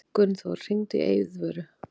Gunnþór, hringdu í Eiðvöru.